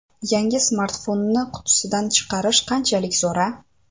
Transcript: Yangi smartfonni qutisidan chiqarish qanchalik zo‘r-a?